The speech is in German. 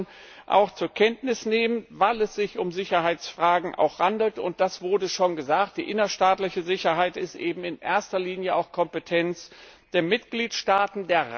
Das muss man auch zur Kenntnis nehmen, weil es sich um Sicherheitsfragen handelt, und das wurde schon gesagt die innerstaatliche Sicherheit ist eben in erster Linie auch Kompetenz der Mitgliedstaaten.